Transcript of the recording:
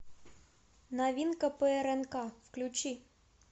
новинка по рнк включи